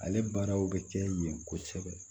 Ale baaraw bɛ kɛ yen kosɛbɛ